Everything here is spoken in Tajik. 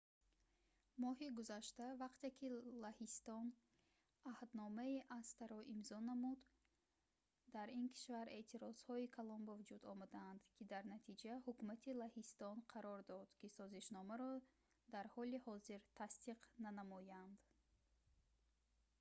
моҳи гузашта вақте ки лаҳистон аҳдномаи acta-ро имзо намуд дар ин кишвар эътирозҳои калон ба вуҷуд омаданд ки дар натиҷа ҳукумати лаҳистон қарор дод ки созишномаро дар ҳоли ҳозир тасдиқ нанамояд